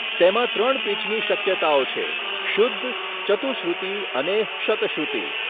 તેમાં ત્રણ પિચની શક્યતાઓ છે, શુદ્ધ, ચતુશ્રુતિ અને શતશ્રુતિ.